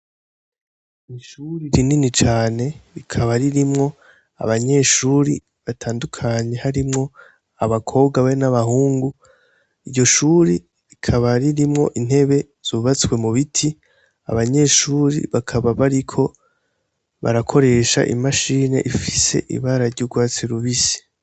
Ishuri rinini cane rikaba ririmwo abanyeshuri batandukanye harimwo abakobwa be n'abahungu. Iryo shuri rikaba ririmwo intebe zubatswe mu biti. Abanyeshuri bakaba bariko barakoresha imashini ifise ibara ry'urwatsi rubisi.